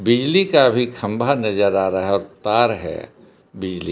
बिजली का भी खंभा नजर आ रहा है और तार है। बिजली